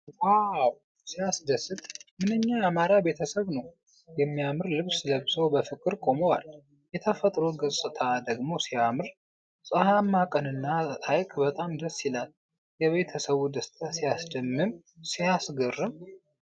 ዋው! ሲያስደስት! ምንኛ ያማረ ቤተሰብ ነው! የሚያምር ልብስ ለብሰው በፍቅር ቆመዋል። የተፈጥሮ ገጽታ ደግሞ ሲያምር! ፀሐያማ ቀንና ሐይቅ በጣም ደስ ይላል። የቤተሰቡ ደስታ ሲያስደምም! ሲያስገርም!